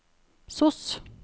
sos